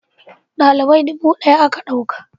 dalibai dubu daya aka dauka